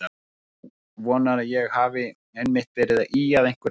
Þú vonar að ég hafi einmitt verið að ýja að einhverju öðru.